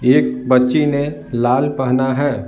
एक बच्ची ने लाल पहना है।